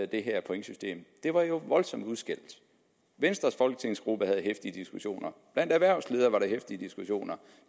det her pointsystem det var jo voldsomt udskældt venstres folketingsgruppe havde heftige diskussioner blandt erhvervsledere var der heftige diskussioner